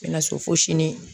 N bɛ na so fo sini